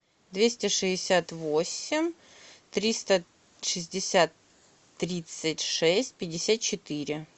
двести шестьдесят восемь триста шестьдесят тридцать шесть пятьдесят четыре